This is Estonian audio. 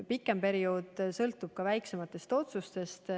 Pikem periood sõltub aga väiksematest otsustest.